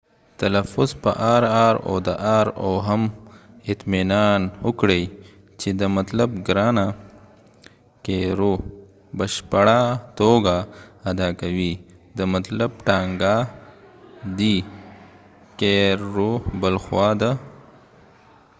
او هم اطمینان وکړئ چې د r او د rr تلفظ په بشپړه توګه ادا کوئ د caro مطلب ګرانه بلخوا د carro مطلب ټانګه دی